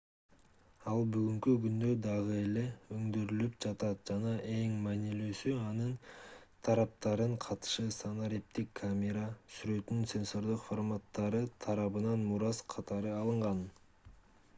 ал бүгүнкү күндө дагы эле өндүрүлүп жатат жана эң маанилүүсү анын тараптарынын катышы санариптик камера сүрөттөрүнүн сенсордук форматтары тарабынан мурас катары алынган